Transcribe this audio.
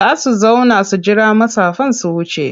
Za su zauna su jira matsafan su wuce.